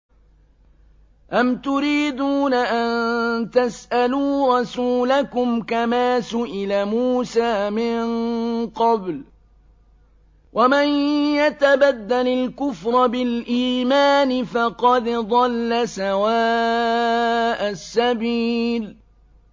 أَمْ تُرِيدُونَ أَن تَسْأَلُوا رَسُولَكُمْ كَمَا سُئِلَ مُوسَىٰ مِن قَبْلُ ۗ وَمَن يَتَبَدَّلِ الْكُفْرَ بِالْإِيمَانِ فَقَدْ ضَلَّ سَوَاءَ السَّبِيلِ